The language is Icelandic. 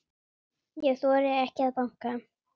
Ég þori ekki að banka.